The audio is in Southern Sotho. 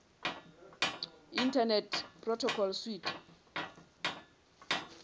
internet protocol suite